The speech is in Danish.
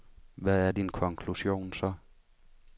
Hvad er din konklusion så?